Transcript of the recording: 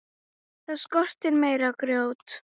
Það skorti meira grjót.